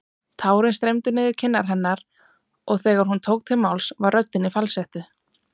Tárin streymdu niður kinnar hennar og þegar hún tók til máls var röddin í falsettu.